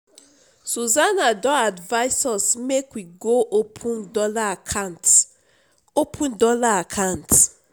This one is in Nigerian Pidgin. susana don advise us make we go open dollar account open dollar account